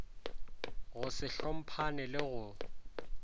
go se hlomphane le go